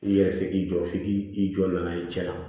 I yɛrɛ se k'i jɔ f'i k'i i jɔ na' ye cɛ la